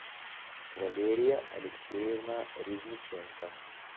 валерия алексеевна резниченко